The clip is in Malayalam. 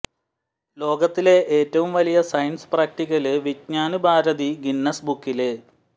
ലോകത്തിലെ ഏറ്റവും വലിയ science practical Vigyan Bharati Guinness ബുക്കില്